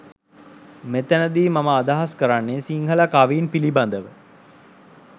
මෙතැන දි මම අදහස් කරන්නෙ සිංහල කවීන් පිලිබඳව.